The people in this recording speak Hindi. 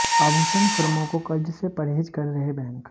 आभूषण फर्मों को कर्ज से परहेज कर रहे बैंक